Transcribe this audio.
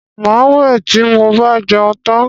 Màá wẹ̀ tí mo bá jẹun tán